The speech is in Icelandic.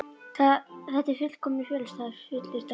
Þetta er fullkominn felustaður, fullyrti hann.